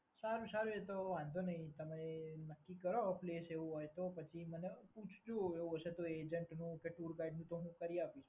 સારામાસારું એ તો વાંધો નહીં તમે નક્કી કરો પ્લેસ એવું હોય તો પછી એટલે મને પૂછજો. એવું હશે તો એજન્ટનું કે ટુર ગાઈડનું પણ હું કરી આપીશ.